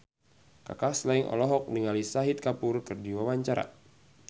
Kaka Slank olohok ningali Shahid Kapoor keur diwawancara